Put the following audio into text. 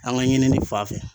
An ka ɲinini fanfɛ.